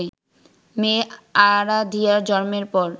মেয়ে আরাধিয়ার জন্মের পর